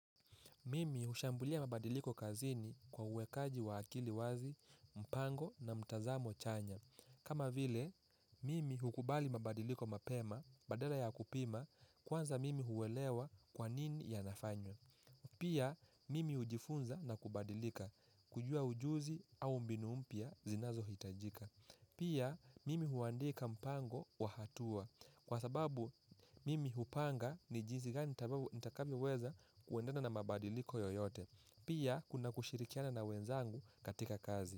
Mimi hushambulia mabadiliko kazini kwa uwekaji wa akili wazi, mpango na mtazamo chanya. Kama vile, mimi hukubali mabadiliko mapema, badala ya kupima, kwanza mimi huwelewa kwanini yanafanywa. Pia, mimi hujifunza na kubadilika, kujua ujuzi au mbinu mpya zinazohitajika. Pia mimi huandika mpango wa hatua kwa sababu mimi hupanga ni jinsi gani nitakavyoweza kuendana na mabadiliko yoyote. Pia kuna kushirikiana na wenzangu katika kazi.